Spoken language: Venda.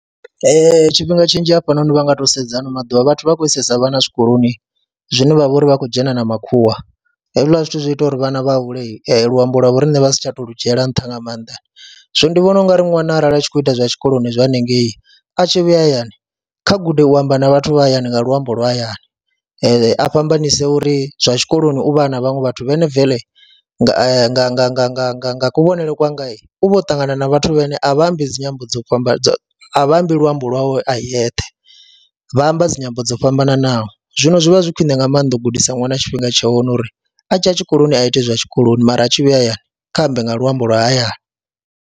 Ee, tshifhinga tshinzhi hafhanoni vha nga tou sedza ha ano maḓuvha vhathu vha khou isesa vhana zwikoloni zwine vha vha uri vha khou dzhena na makhuwa, hezwiḽa zwithu zwi ita uri vhana vha hule luambo lwa vho riṋe vha si tsha tou lu dzhiela nṱha nga maanḓa, zwino ndi vhona u nga ri ṅwana arali a tshi khou ita zwa tshikoloni zwa haningei a tshi vhuya hayani kha gude u amba na vhathu vha hayani nga luambo lwa hayani a fhambanyise uri zwa tshikoloni u vha a na vhaṅwe vhathu vhane bvele nga nga nga nga nga nga nga kuvhonele kwanga u vha o ṱangana na vhathu vhane a vha ambi dzi nyambo dzo fhambana a vha ambi luambo lwawe a eyeṱhe vha amba dzi nyambo dzo fhambananaho. Zwino zwi vha zwi khwiṋe nga maanḓa u gudisa ṅwana tshifhinga tsha hone uri a tshi ya tshikoloni a ite hezwiḽa tshikoloni mara a tshi vhuya hayani kha ambe nga luambo lwa hayani.